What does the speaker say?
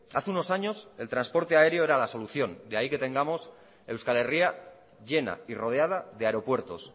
hace unos años el transporte aéreo era la solución de ahí que tengamos euskal herria llena y rodeada de aeropuertos